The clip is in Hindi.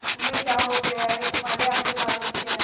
तुम्हें क्या हो गया है तुम्हारे आगे बालबच्चे हैं